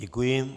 Děkuji.